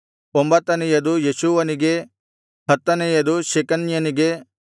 ಒಂಬತ್ತನೆಯದು ಯೆಷೂವನಿಗೆ ಹತ್ತನೆಯದು ಶೆಕನ್ಯನಿಗೆ